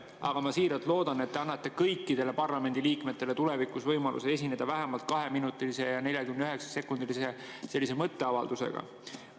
Aga ma siiralt loodan, et te annate kõikidele parlamendiliikmetele tulevikus võimaluse esineda vähemalt 2 minuti ja 49 sekundi pikkuse mõtteavaldusega.